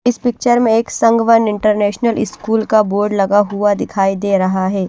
इस पिक्चर में एक संघ वन इंटरनेशनल स्कूल का बोर्ड लगा हुआ दिखाई दे रहा है।